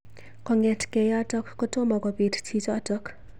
Kongetkei yotok kotomo kobit chichotok.